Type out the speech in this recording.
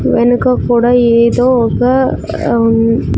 వెనుక కూడా ఏదో ఒక మ్.